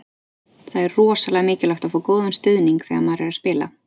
Það er rosalega mikilvægt að fá góðan stuðning þegar maður er að spila.